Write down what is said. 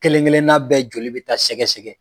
Kelen kelen n'a bɛɛ joli bɛ taa sɛgɛsɛgɛ.